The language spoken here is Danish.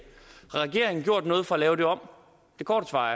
har regeringen gjort noget for at lave det om det korte svar